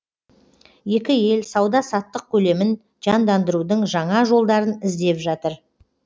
екі ел сауда саттық көлемін жандандырудың жаңа жолдарын іздеп жатыр